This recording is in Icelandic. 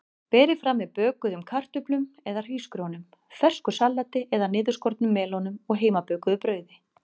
Berið fram með bökuðum kartöflum eða hrísgrjónum, fersku salati eða niðurskornum melónum og heimabökuðu brauði.